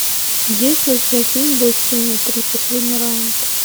есть ли у тебя фильм бой с тенью три последний раунд